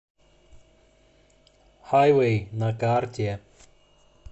хайвей на карте